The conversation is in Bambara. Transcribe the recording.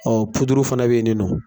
fana beyininɔ.